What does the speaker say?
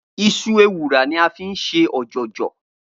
Iṣu ewùrà ni a fi ń ṣe ọ̀jọ̀jọ̀